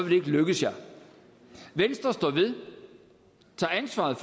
det ikke lykkes jer venstre står ved tager ansvaret